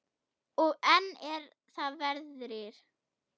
Og enn er það veðrið.